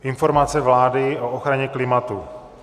Informace vlády o ochraně klimatu